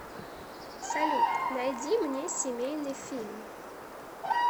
салют найди мне семейный фильм